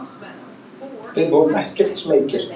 Við vorum ekkert smeykir.